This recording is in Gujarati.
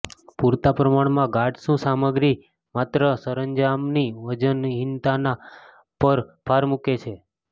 પૂરતા પ્રમાણમાં ગાઢ શૂ સામગ્રી માત્ર સરંજામની વજનહિનતા પર ભાર મૂકે છે